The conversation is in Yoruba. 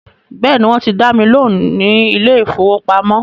Bẹ́ẹ̀ni, wọ́n ti dá mi lóhùn ní ilé ìfọwọ́pamo.